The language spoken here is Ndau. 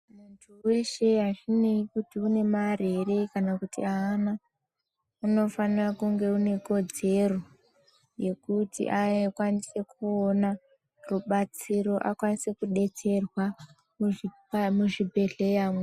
Muntu weshe azvineyi kuti unemare ere kana kuti haana unofane kunge unekodzero yekuti akwanise kooona rubatsiro akwanise kudetserwa muzvibhehleya mwo.